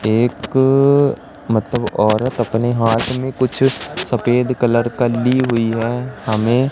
एक मतलब औरत अपने हाथ में कुछ सफेद कलर का ली हुई है हमें--